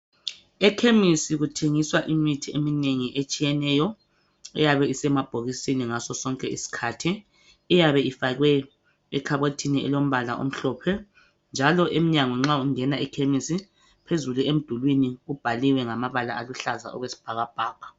Ekhemisi kuthengiswa imithi eminengi etshiyeneyo, iyabe isemabhokisini ngasosonke isikhathi, iyabe ifakwe ekhabothini elombala omhlophe, njalo emnyango nxa ungena ekhemisi phezulu emdulini kubhaliwe ngamabala aluhlaza okwesibhakabhaka.